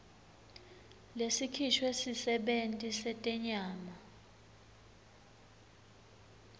lesikhishwe sisebenti setenyama